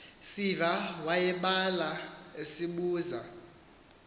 siva wayeblala esibuza